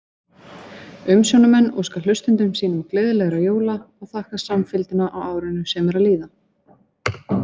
Umsjónarmenn óska hlustendum sínum gleðilegra jóla og þakka samfylgdina á árinu sem er að líða!